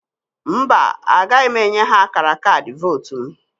Mba, agaghị m enye ha akara kaadị vootu m.